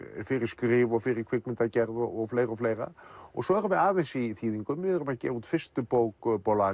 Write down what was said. fyrir skrif og fyrir kvikmyndagerð og fleira og fleira og svo erum við aðeins í þýðingum við erum að gefa út fyrstu bók